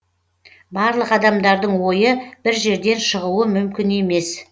барлық адамдардың ойы бір жерден шығуы мүмкін емес